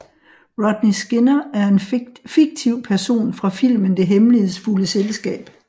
Rodney Skinner er en fiktiv person fra filmen Det hemmelighedsfulde selskab